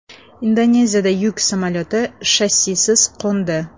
Indoneziyada yuk samolyoti shassisiz qo‘ndi.